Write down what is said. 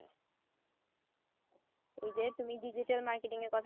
এই যে তুমি digital marketing এর কথা